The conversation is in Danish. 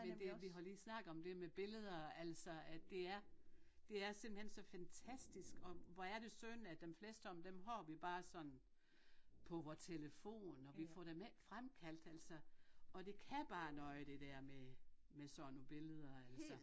Men det vi har lige snakket om det med billeder altså at det er det er simpelthen så fantastisk og hvor er det synd at dem fleste af dem har vi bare sådan på vores telefon og vi får dem ikke fremkaldt altså og det kan bare noget det dér med med sådan nogle billeder altså